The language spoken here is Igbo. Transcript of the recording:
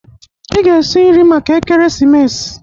Ị ga esi nri maka ekeremesis!